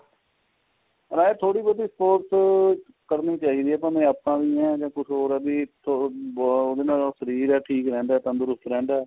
ਨਾਲੇ ਥੋੜੀ ਬਹੁਤੀ sports ਕਰਨੀ ਚਾਹੀਦੀ ਏ ਭਾਵੇ ਆਪਾਂ ਵੀ ਆ ਕੁੱਝ ਹੋਰ ਏ ਬੀ ਉਹਦੇ ਨਾਲ ਸਰੀਰ ਜਾ ਠੀਕ ਰਹਿੰਦਾ ਤੰਦਰੁਸਤ ਰਹਿੰਦਾ